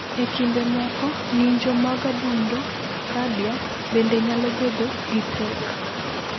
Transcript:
E kinde moko, ng’injo mag adundo (cardia) bende nyalo bedo gi pek.